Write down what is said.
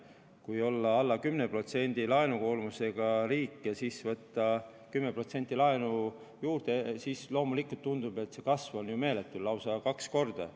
Kui olla alla 10% laenukoormusega riik ja siis võtta 10% laenu juurde, siis loomulikult tundub, et laenukoormuse kasv on ju meeletu, lausa kaks korda.